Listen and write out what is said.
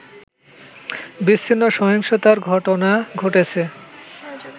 বিচ্ছিন্ন সহিংসতার ঘটনা ঘটেছে